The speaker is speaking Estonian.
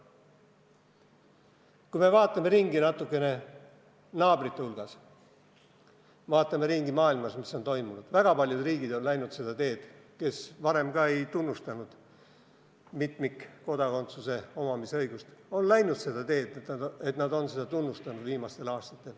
Kui vaatame natukene ringi naabrite hulgas, vaatame ringi maailmas, et mis on toimunud, siis väga paljud riigid on läinud seda teed – riigid, kes varem ei tunnustanud mitmikkodakondsuse omamise õigust –, et nad on viimastel aastatel hakanud seda tunnustama.